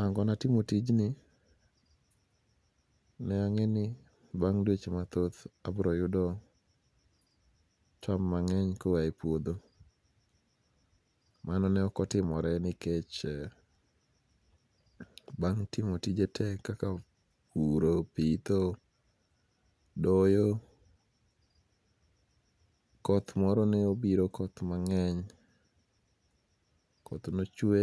Angona timo tijni ne ange'ni bang dweche mathoth abroyudo cham mange'ny koaye puotho, mano ne okotimore nikech bang' timo tije te kaka puro, pitho, doyo koth moro ne obiro koth mange'ny koth nochwe